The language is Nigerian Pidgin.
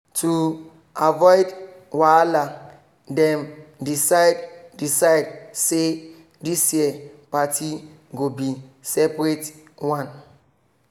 to avoid wahala dem decide decide say this year party go be seperate one